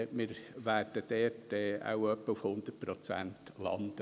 Wir werden dort wahrscheinlich etwa bei 100 Prozent landen.